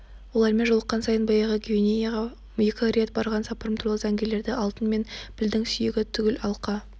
олармен жолыққан сайын баяғы гвинеяға екі рет барған сапарым туралы зәңгілерді алтын мен пілдің сүйегі түгіл алқа